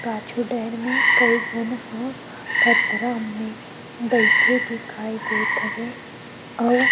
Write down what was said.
पाछू डर मे कई झन ह पथरा मे बइठे दिखाई देत हवे अउ --